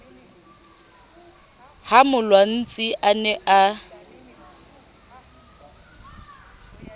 ha molwantsi a ne a